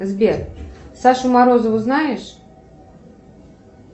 сбер сашу морозову знаешь